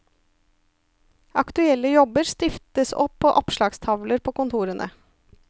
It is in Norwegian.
Aktuelle jobber stiftes opp på oppslagstavler på kontorene.